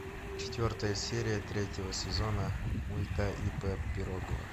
четвертая серия третьего сезона мульта ип пирогова